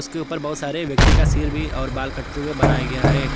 के ऊपर बहुत सारे व्यक्ति का सिर भी और बाल काटते हुए बनाया गया है।